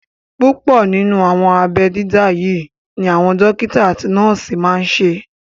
Púpọ̀ nínú àwọn abẹ́ dídá yí ni àwọn dókítà àti nọ́ọ̀sì máa n ṣe